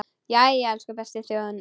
Jæja, elsku besta þjóðin mín!